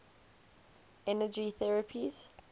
energy therapies